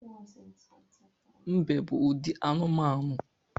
Mbe bụ ụdị anụmanụ